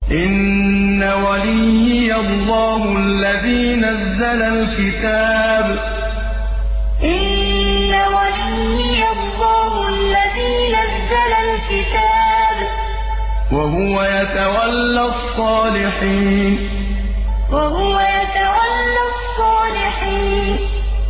إِنَّ وَلِيِّيَ اللَّهُ الَّذِي نَزَّلَ الْكِتَابَ ۖ وَهُوَ يَتَوَلَّى الصَّالِحِينَ إِنَّ وَلِيِّيَ اللَّهُ الَّذِي نَزَّلَ الْكِتَابَ ۖ وَهُوَ يَتَوَلَّى الصَّالِحِينَ